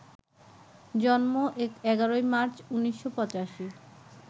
জন্ম ১১ মার্চ, ১৯৮৫